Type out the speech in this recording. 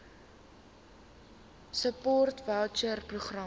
support voucher programme